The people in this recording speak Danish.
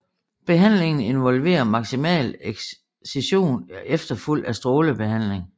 Behandlingen involverer maksimal excision efterfulgt af strålebehandling